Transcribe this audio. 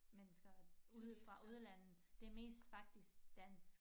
Mennesker ude fra udlandet det mest faktisk dansk